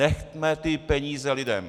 Nechme ty peníze lidem!